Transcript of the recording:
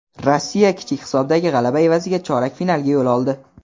Rossiya kichik hisobdagi g‘alaba evaziga chorak finalga yo‘l oldi.